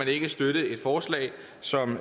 kan støtte et forslag som